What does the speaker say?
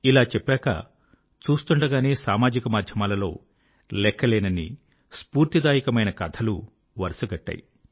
ఇలా చెప్పాక చూస్తూండగానే సామాజికమాధ్యమాలలో లెక్కలేనన్ని స్ఫూర్తిదాయకమైన కథలు వరుసగట్టాయి